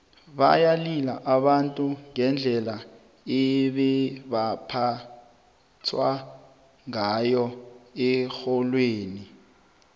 bayalila abantu ngendlela ebebaphethwe ngayo erholweni